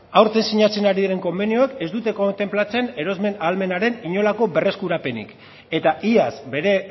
aurten sinatzen ari diren konbenioak ez dute kontenplatzen erosmen ahalmenaren inolako berreskurapenik eta iaz bere